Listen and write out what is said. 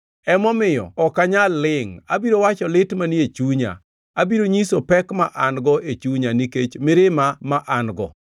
“Emomiyo ok anyal lingʼ; abiro wacho lit manie chunya, abiro nyiso pek ma an-go e chunya nikech mirima ma an-go.